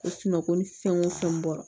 Ko sunɔgɔ ni fɛn o fɛn bɔra